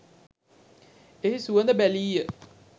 එහි සුවඳ බැලීය.